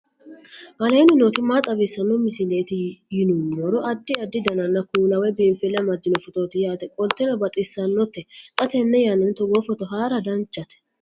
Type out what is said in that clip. aleenni nooti maa xawisanno misileeti yinummoro addi addi dananna kuula woy biinfille amaddino footooti yaate qoltenno baxissannote xa tenne yannanni togoo footo haara danchate